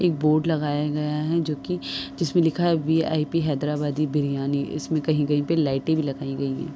एक बोर्ड लगाया गया है जोकि जिसमे लिखा है वी.आई.पी. हैदराबाद बिरयानी इसमें कही कही पे लाइटे भी लगाई गई हैं।